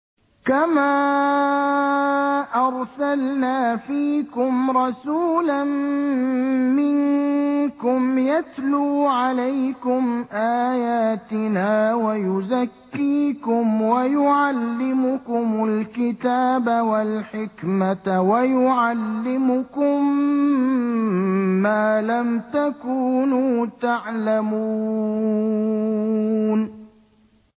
كَمَا أَرْسَلْنَا فِيكُمْ رَسُولًا مِّنكُمْ يَتْلُو عَلَيْكُمْ آيَاتِنَا وَيُزَكِّيكُمْ وَيُعَلِّمُكُمُ الْكِتَابَ وَالْحِكْمَةَ وَيُعَلِّمُكُم مَّا لَمْ تَكُونُوا تَعْلَمُونَ